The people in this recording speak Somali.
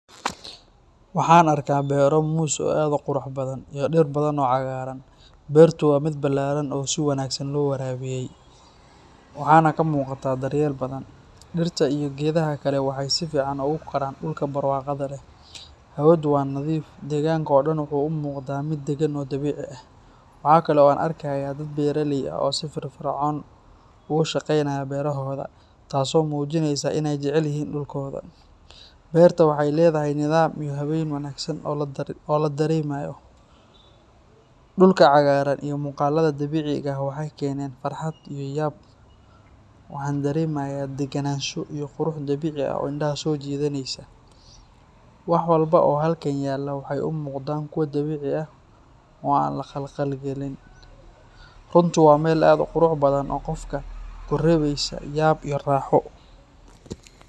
Waxaan arkayaa beero moos oo aad u qurux badan iyo dhir badan oo cagaaran. Beertu waa mid ballaaran oo si wanaagsan loo waraabiyay, waxaana ka muuqda daryeel badan. Dhirta iyo geedaha kaleba waxay si fiican ugu koraan dhulkan barwaaqada leh. Hawadu waa nadiif, deegaanka oo dhan wuxuu u muuqdaa mid dagan oo dabiici ah. Waxa kale oo aan arkayaa dad beeraley ah oo si firfircoon ugu shaqaynaya beerohooda, taasoo muujinaysa in ay jecel yihiin dhulkooda. Beerta waxay leedahay nidaam iyo habeyn wanaagsan oo la dareemayo. Dhulka cagaaran iyo muuqaallada dabiiciga ah waxay keeneen farxad iyo yaab. Waxaan dareemayaa degenaansho iyo qurux dabiici ah oo indhaha soo jiidanaysa. Wax walba oo halkan yaalla waxay u muuqdaan kuwo dabiici ah oo aan la khalkhalgelin. Runtii waa meel aad u qurux badan oo qofka ku reebaysa yaab iyo raaxo.